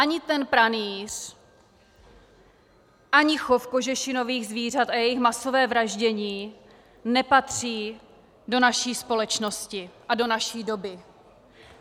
Ani ten pranýř, ani chov kožešinových zvířat a jejich masové vraždění nepatří do naší společnosti a do naší doby.